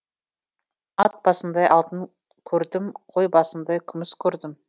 ат басындай алтын көрдім қой басындай күміс көрдім